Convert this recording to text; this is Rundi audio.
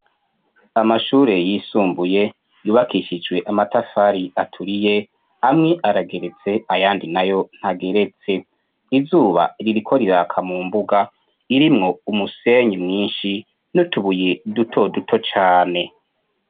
amashure yisumbuye yubakishijwe amatafari aturiye amwe arageretse ayandi nayo ntageretse izuba ririko riraka mu mbuga irimwo umusenyi mwinshi n'utubuye duto duto cyane.